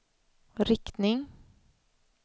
riktning